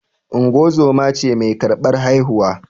Ungozoma ce mai karɓar haihuwa